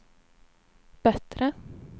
bättre